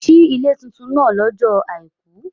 Si ile titun naa lọ́jọ́ Àìkú.